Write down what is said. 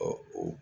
o